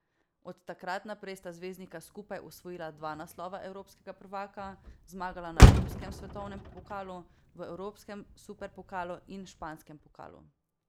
Od takrat naprej sta zvezdnika skupaj osvojila dva naslova evropskega prvaka, zmagala na klubskem svetovnem pokalu, v evropskem superpokalu in španskem pokalu.